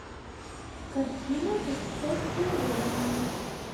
картина путешествие времени